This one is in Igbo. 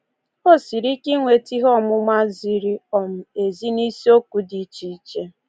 O siri ike inweta ihe ọmụma ziri um ezi n’isiokwu dị iche iche.